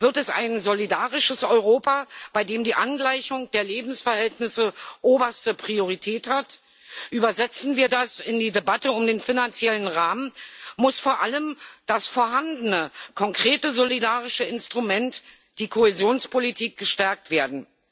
Wird es ein solidarisches Europa, bei dem die Angleichung der Lebensverhältnisse oberste Priorität hat? Übersetzen wir das in die Debatte um den finanziellen Rahmen, muss vor allem das vorhandene konkrete solidarische Instrument, die Kohäsionspolitik, gestärkt werden.